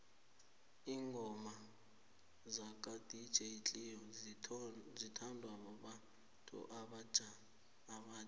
ingoma zaka dj cleo zithondwa babantu obatjha